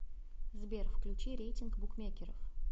сбер включи рейтинг букмекеров